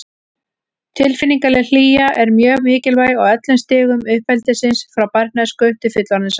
Tilfinningaleg hlýja er mjög mikilvæg á öllum stigum uppeldisins, frá barnæsku til fullorðinsára.